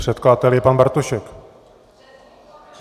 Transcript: Předkladatel je pan Bartošek.